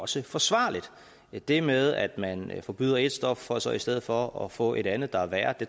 også forsvarligt det med at man forbyder et stof for så i stedet for at få et andet der er værre